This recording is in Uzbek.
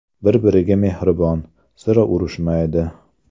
Bir-biriga mehribon, sira urushmaydi.